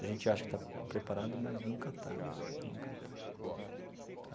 A gente acha que está preparado, mas nunca está. Não. Nunca está.